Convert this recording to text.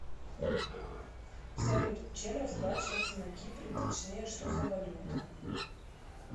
салют чем расплачиваться на кипре точнее что за валюта